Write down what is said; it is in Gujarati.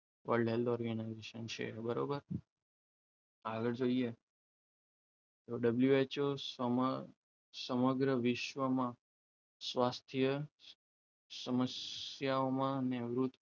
world health organisation છે બરાબર આગળ જોઇએ તો WHO સ સમગ્ર વિશ્વમાં સ્વાસ્થ્ય સમસ્યાઓમાં નિવૃત્ત